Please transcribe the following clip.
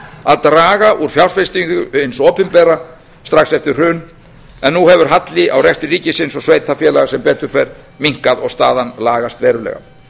að draga úr fjárfestingum hins opinbera strax eftir hrun en nú hefur halli á rekstri ríkisins og sveitarfélaga sem betur fer minnkað og staðan lagast verulega